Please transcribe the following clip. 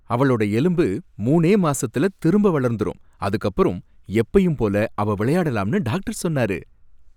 அவளோட எலும்பு மூணே மாசத்துல திரும்ப வளர்ந்துரும், அதுக்கப்பறம் எப்பயும் போல அவ விளையாடலாம்னு டாக்டர் சொன்னாரு.